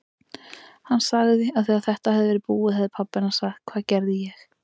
Hún sagði að þegar þetta hefði verið búið hefði pabbi hennar sagt: Hvað gerði ég?